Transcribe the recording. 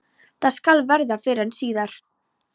Það skal verða fyrr en síðar.